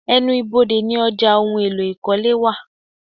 Ẹnu ibodè ní ọjà ohùn èlò ikọle wá